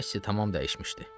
Kassi tam dəyişmişdi.